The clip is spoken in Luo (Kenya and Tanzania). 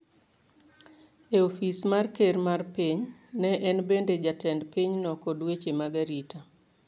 e ofis mar ker mar piny, ne en bende jatend pinyno kod weche mag arita.